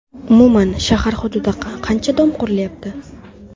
Umuman, shahar hududida qancha dom qurilyapti?